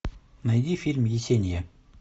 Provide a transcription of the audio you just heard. найди фильм есения